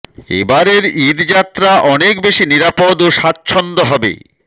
এবারের ঈদ যাত্রা অনেক বেশি নিরাপদ ও স্বাচ্ছন্দ্য হবে